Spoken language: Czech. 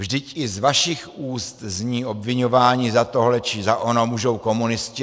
Vždyť i z vašich úst zní obviňování: za tohle či za ono můžou komunisté.